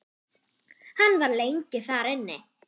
Hann var lengi þar inni.